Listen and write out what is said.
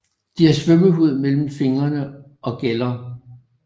De har svømmehud mellem fingrene og gæller